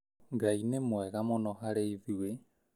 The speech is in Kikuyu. Ngai nĩ mwega mũno harĩ ithuĩ